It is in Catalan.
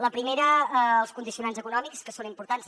la primera els condicionants econòmics que són importants